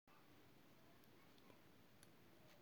no remember say im rape gisèle pelicot e claim say dominique pelicot drug am (something wey um dominique deny).